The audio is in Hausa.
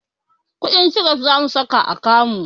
Shuɗin kiref zamu saka a kamu